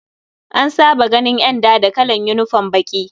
An saba ganin ƴanda da kalan unifom baƙi.